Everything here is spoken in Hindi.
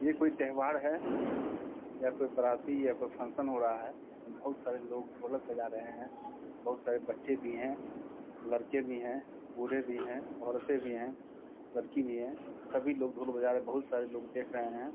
ये कोई त्यौहार है यहाँ पे बाराती यहाँ पे फंक्शन हो रहा है बहुत सारे लोग ढोलक बजा रहे हैं बहुत सारे बच्चे भी हैं लड़के भी हैं बूढ़े भी हैं औरतें भी हैं लड़की भी है सभी लोग ढोल बजा रहे हैं बहुत सारे लोग देख रहे हैं ।